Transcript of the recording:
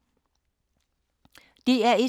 DR1